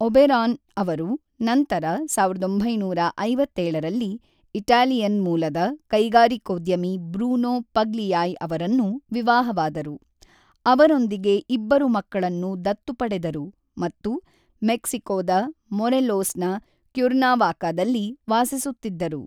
ಬೆರಾನ್ ಅವರು ನಂತರ ಸಾವಿರದ ಒಂಬೈನೂರ ಐವತ್ತೇಳರಲ್ಲಿ ಇಟಾಲಿಯನ್ ಮೂಲದ ಕೈಗಾರಿಕೋದ್ಯಮಿ ಬ್ರೂನೋ ಪಗ್ಲಿಯಾಯ್ ಅವರನ್ನು ವಿವಾಹವಾದರು, ಅವರೊಂದಿಗೆ ಇಬ್ಬರು ಮಕ್ಕಳನ್ನು ದತ್ತು ಪಡೆದರು ಮತ್ತು ಮೆಕ್ಸಿಕೋದ ಮೊರೆಲೋಸ್‌ನ ಕ್ಯುರ್ನಾವಾಕಾದಲ್ಲಿ ವಾಸಿಸುತ್ತಿದ್ದರು.